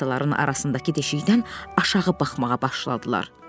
Taxtaların arasındakı deşikdən aşağı baxmağa başladılar.